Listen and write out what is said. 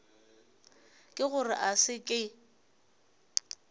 ke gore a se ke